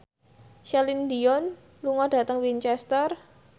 Celine Dion lunga dhateng Winchester